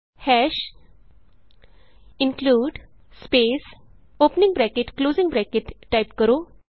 ਹਾਸ਼ include space opening bracket closing bracket type ਕਰੋ